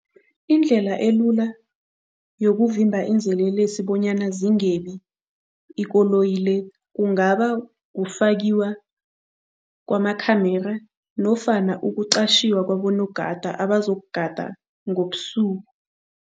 Indlela elula yokuvimba izelelesi bonyana zingebi ikoloyi le kungaba kufakiwa kwama-camera nofana ukuqatjhiwa kwabonogada, abazokugada ngobusuku.